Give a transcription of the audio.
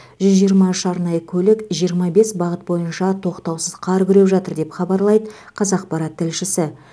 жүз жиырма үш арнайы көлік жиырма бес бағыт бойынша тоқтаусыз қар күреп жатыр деп хабарлайды қазақпарат тілшісі